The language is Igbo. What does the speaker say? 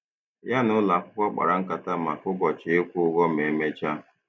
Ya na ụlọ akwụkwọ kpara nkata maka ụbọchị ịkwụ ụgwọ ma emechaa.